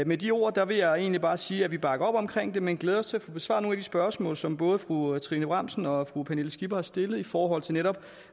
med de ord vil jeg egentlig bare sige at vi bakker op om det men glæder os til at få besvaret nogle spørgsmål som både fru trine bramsen og fru pernille skipper har stillet i forhold til netop